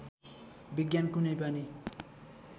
विज्ञान कुनै पनि